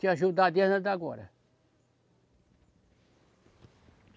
Te ajudar desde agora.